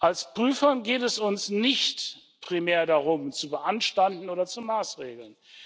Als Prüfern geht es uns nicht primär darum, zu beanstanden oder zu maßregeln.